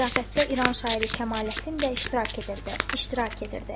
Ziyafətdə İran şairi Kəmaləddin də iştirak edirdi, iştirak edirdi.